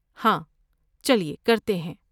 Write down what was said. ہاں، چلئے کرتے ہیں۔